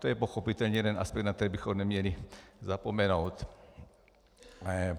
To je pochopitelně jeden aspekt, na který bychom neměli zapomenout.